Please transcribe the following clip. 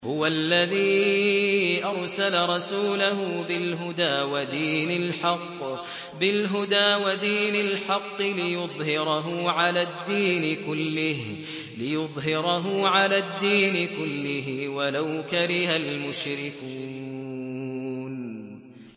هُوَ الَّذِي أَرْسَلَ رَسُولَهُ بِالْهُدَىٰ وَدِينِ الْحَقِّ لِيُظْهِرَهُ عَلَى الدِّينِ كُلِّهِ وَلَوْ كَرِهَ الْمُشْرِكُونَ